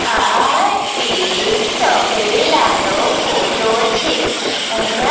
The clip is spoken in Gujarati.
આ એક તબેલા નો ફોટો છે અહીંયા--